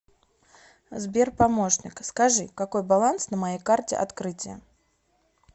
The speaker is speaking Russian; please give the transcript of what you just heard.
сбер помощник скажи какой баланс на моей карте открытие